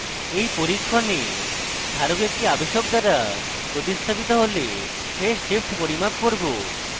in পরীক্ষণে ধারক একটি আবেশক দ্বারা প্রতিস্থাপিত হলে phase shift পরিমাপ করব